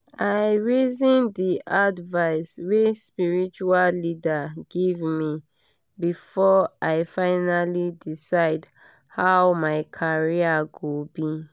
i reason the advice wey spiritual leader give me before i finally decide how my career go be.